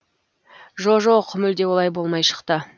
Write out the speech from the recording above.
жо жоқ мүлде олай болмай шықты